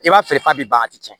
I b'a feere f'a bɛ ban a ti tiɲɛ